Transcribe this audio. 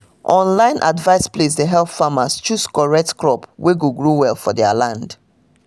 online advice place dey help farmers choose correct crop wey go grow well for their land